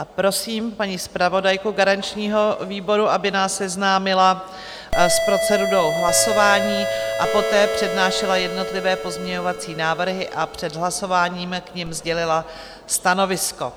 A prosím paní zpravodajku garančního výboru, aby nás seznámila s procedurou hlasování a poté přednášela jednotlivé pozměňovací návrhy a před hlasováním k nim sdělila stanovisko.